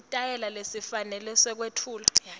sitayela lesifanele sekwetfula